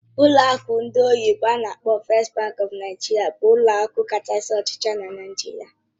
Ụlọ akụ ndị oyibo n'akpọ "First Bank of Nigeria" bụ ụlọ akụ kacha ochie na Nigeria.